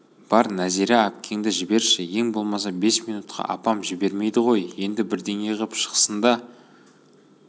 бар нәзира әпкеңді жіберші ең болмаса бес минутқа апам жібермейді ғой енді бірдеңе ғып шықсын да